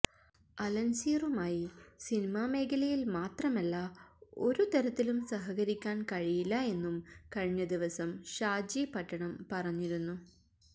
അലന്സിയറുമായി cinema മേഖലയില് മാത്രമല്ല ഒരുതരത്തിലും സഹകരിക്കാന് കഴിയില്ല എന്നും കഴിഞ്ഞദിവസം ഷാജി പട്ടണം പറഞ്ഞിരുന്നു